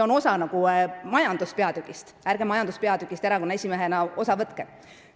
Kosmoseteema on osa majanduspeatükist, seega, ärge majanduspeatüki arutelust erakonna esimehena osa võtke!